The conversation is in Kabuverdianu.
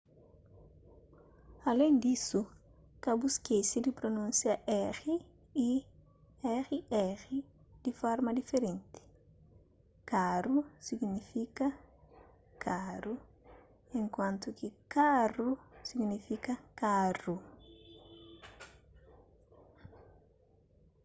alén disu ka bu skese di prunúnsia r y rr di forma diferenti caro signifika karu enkuantu ki carro signifika karu